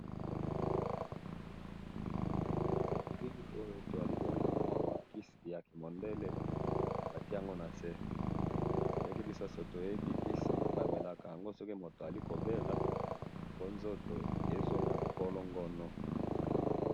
Na bili Oyo tozali komona Kisi ya kimondele, batie ango na se. Ndenge biso nyonso toyebi, kisi bamelaka ango soki moto azali kobela po nzoto ezongo nkolo ngono